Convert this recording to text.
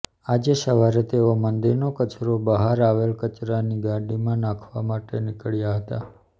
આજે સવારે તેઓ મંદિરનો કચરો બહાર આવેલી કચરાની ગાડીમાં નાખવા માટે નિકળ્યા હતા